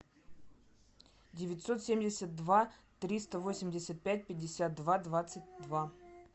девятьсот семьдесят два триста восемьдесят пять пятьдесят два двадцать два